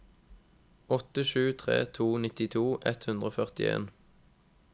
åtte sju tre to nittito ett hundre og førtien